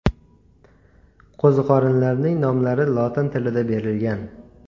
Qo‘ziqorinlarning nomlari lotin tilida berilgan.